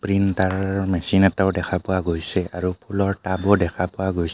Printer machine এটাও দেখা পোৱা গৈছে আৰু ফুলৰ টাব ও দেখা পোৱা গৈছে.